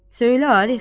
Söylə, Arif!